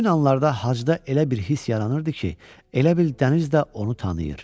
Həmin anlarda hacıda elə bir hiss yaranırdı ki, elə bil dəniz də onu tanıyır.